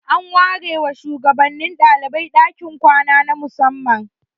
An ware wa shugabannin dalibai dakin kwana na musamman.